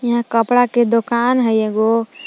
यहां कपड़ा के दोकान हइ एगो।